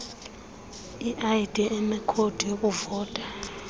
id enekhodi yokuvota